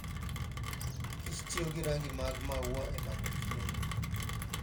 kich tiyo gi rangi mag maua e manyo chiemo.